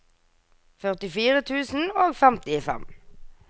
førtifire tusen og femtifem